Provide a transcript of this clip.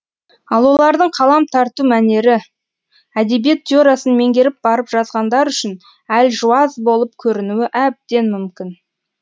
ал олардың қалам тарту мәнері әдебиет теориясын меңгеріп барып жазғандар үшін әлжуаз болып көрінуі әбден мүмкін